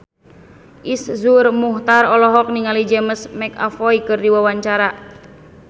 Iszur Muchtar olohok ningali James McAvoy keur diwawancara